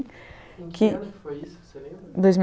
Em que ano foi isso você lembra? dois mil